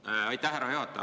Aitäh, härra juhataja!